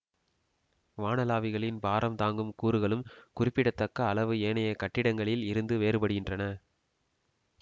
வானளாவிகளின் பாரம் தாங்கும் கூறுகளும் குறிப்பிடத்தக்க அளவு ஏனைய கட்டிடங்களில் இருந்து வேறுபடுகின்றன